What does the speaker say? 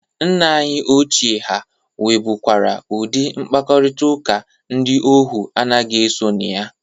Nna anyị ochie ha nwebụkwara udị mkparịtaụka ndị ohu anaghị eso na ya.